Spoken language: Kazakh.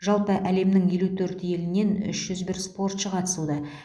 жалпы әлемнің елу төрт елінен үш жүз бір спортшы қатысуда